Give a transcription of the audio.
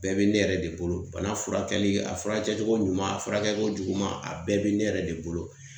Bɛɛ be ne yɛrɛ de bolo bana furakɛli a furakɛcogo ɲuman a furakɛli ko juguman a bɛɛ be ne yɛrɛ de bolo